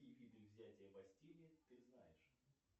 какие виды взятия бастилии ты знаешь